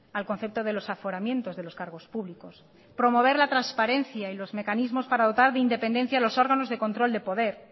al concepto de los aforamientos de los cargos públicos promover la transparencia y los mecanismos para dotar de independencia a los órganos de control de poder